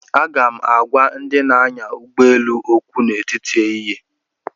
Aga m agwa ndị na-anya ụgbọ elu okwu n'etiti ehihie